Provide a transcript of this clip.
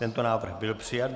Tento návrh byl přijat.